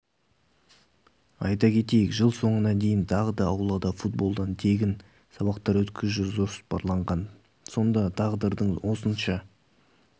айта кетейік жыл соңына дейін тағы да аулада футболдан тегін сабақтар өткізу жоспарланған сонда тағдырдың осынша